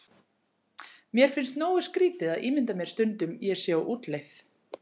Mér finnst nógu skrýtið að ímynda mér stundum ég sé á útleið.